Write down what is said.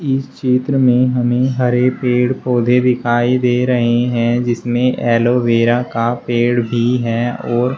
इस चित्र में हमें हरे पेड़ पौधे दिखाई दे रहे हैं जिसमें एलोवेरा का पेड़ भी है और --